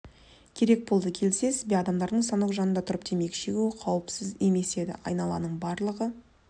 керек болды келісесіз бе адамдардың станок жанында тұрып темекі шегуі қауіпсіз емес еді айналаның барлығы